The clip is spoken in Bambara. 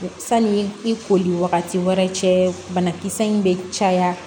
Sani i koli wagati wɛrɛ cɛ banakisɛ in bɛ caya